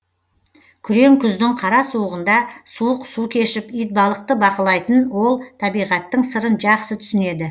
күрең күздің қара суығында суық су кешіп итбалықты бақылайтын ол табиғаттың сырын жақсы түсінеді